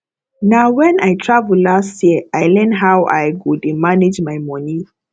na wen i travel last year i learn how i go dey manage my moni